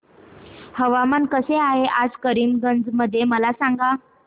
हवामान कसे आहे आज करीमगंज मध्ये मला सांगा